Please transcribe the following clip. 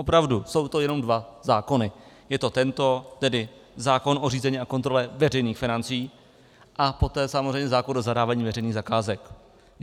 Opravdu jsou to jenom dva zákony, je to tento, tedy zákon o řízení a kontrole veřejných financí, a poté samozřejmě zákon o zadávání veřejných zakázek.